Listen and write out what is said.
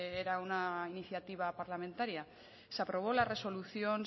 era una iniciativa parlamentaria se aprobó la resolución